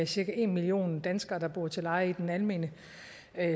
cirka en million danskere der bor til leje i den almene